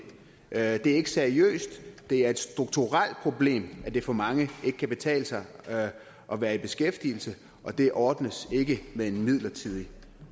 er ikke seriøst det er et strukturelt problem at det for mange ikke kan betale sig at være i beskæftigelse og det ordnes ikke med en midlertidig